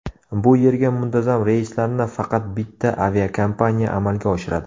Bu yerga muntazam reyslarni faqat bitta aviakompaniya amalga oshiradi.